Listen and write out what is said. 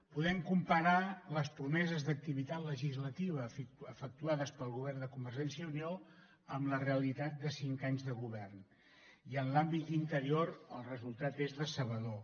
podem comparar les promeses d’activitat legislativa efectuades pel govern de convergència i unió amb la realitat de cinc anys de govern i en l’àmbit d’interior el resultat és decebedor